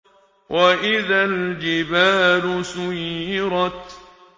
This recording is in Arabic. وَإِذَا الْجِبَالُ سُيِّرَتْ